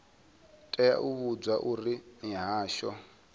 tea u vhudzwa uri mihasho